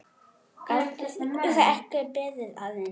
Gátuð þið ekki beðið aðeins?